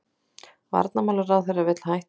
Varnarmálaráðherra vill hætta